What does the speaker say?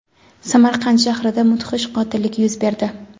Samarqand shahrida mudhish qotillik yuz berdi.